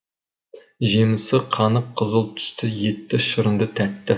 жемісі қанық қызыл түсті етті шырынды тәтті